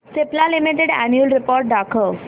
Cipla limited annual report दाखव